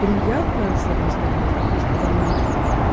приятно с одной стороны с другой стороны